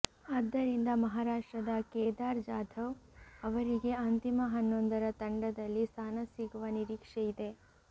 ಆದ್ದರಿಂದ ಮಹಾರಾಷ್ಟ್ರದ ಕೇದಾರ್ ಜಾಧವ್ ಅವರಿಗೆ ಅಂತಿಮ ಹನ್ನೊಂದರ ತಂಡದಲ್ಲಿ ಸ್ಥಾನ ಸಿಗುವ ನಿರೀಕ್ಷೆಯಿದೆ